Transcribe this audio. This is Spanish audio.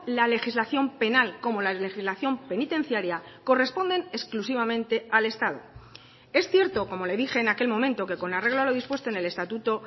la legislación penal como la legislación penitenciaria corresponden exclusivamente al estado es cierto como le dije en aquel momento que con arreglo a lo dispuesto en el estatuto